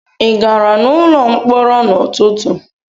Ị gara n'ụlọ mkpọrọ n'ụtụtụ?